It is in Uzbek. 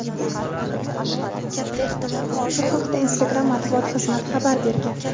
Bu haqda Instagram matbuot xizmati xabar bergan.